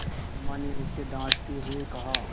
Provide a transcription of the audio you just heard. अम्मा ने उसे डाँटते हुए कहा